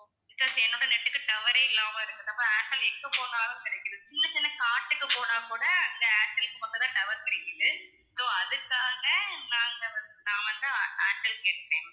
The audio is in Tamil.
because என்னோட net க்கு tower ஏ இல்லாம இருக்குறப்போ ஏர்டெல் எங்க போனாலும் கிடைக்குது சின்ன சின்ன காட்டுக்கே போனா கூட அங்க ஏர்டெல்க்கு மட்டும் தான் tower கிடைக்குது so அதுக்காக நாங்க வந்து நான் வந்து ஏர்டெல் கேக்குறேன்